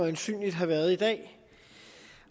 øjensynlig har været i dag